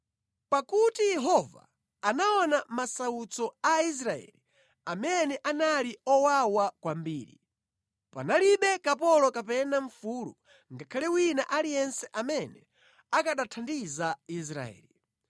Pakuti Yehova anaona masautso a Israeli amene anali owawa kwambiri, panalibe kapolo kapena mfulu ngakhale wina aliyense amene akanathandiza Israeli.